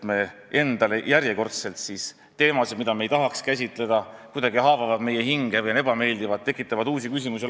Need on järjekordselt teemad, mida me ei tahaks käsitleda, kuna nad haavavad meie hinge või on kuidagi ebameeldivad ja tekitavad uusi küsimusi.